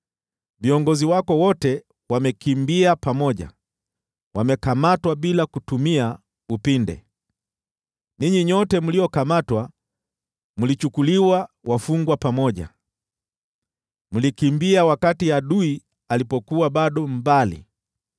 Viongozi wako wote wamekimbia pamoja, wamekamatwa bila kutumia upinde. Ninyi nyote mliokamatwa mlichukuliwa wafungwa pamoja, mlikimbia wakati adui alipokuwa bado mbali.